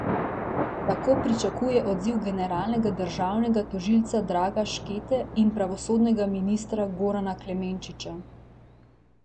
Tako pričakuje odziv generalnega državnega tožilca Draga Škete in pravosodnega ministra Gorana Klemenčiča.